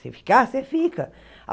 Se ficar, você fica.